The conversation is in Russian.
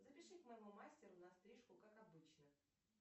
запиши к моему мастеру на стрижку как обычно